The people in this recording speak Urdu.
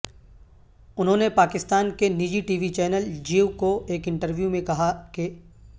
انہوں نے پاکستان کے نجی ٹی وی چینل جیو کو ایک انٹرویو میں کہا کہ